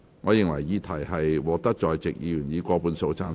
我認為議題獲得在席議員以過半數贊成。